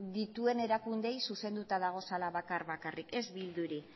dituen erakundeei zuzenduta daudela bakar bakarrik ez bilduri